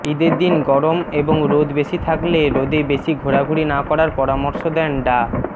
ঈদের দিন গরম এবং রোদ বেশি থাকলে রোদে বেশি ঘোরাঘুরি না করার পরামর্শ দেন ডা